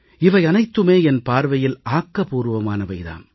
இவையனைத்துமே என் பார்வையில் ஆக்கபூர்வமானவை தாம்